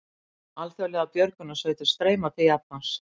Alþjóðlegar björgunarsveitir streyma til Japans